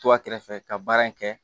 To a kɛrɛfɛ ka baara in kɛ